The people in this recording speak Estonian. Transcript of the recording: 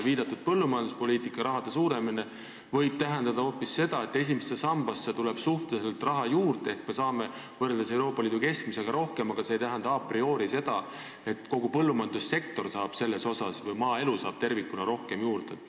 Viidatud põllumajanduspoliitika raha suurenemine võib tähendada hoopis seda, et esimesse sambasse tuleb suhteliselt raha juurde ehk me saame võrreldes Euroopa Liidu keskmisega rohkem, aga see ei tähenda a priori seda, et kogu põllumajandussektor saab sellest osa või maaelu saab tervikuna rohkem juurde.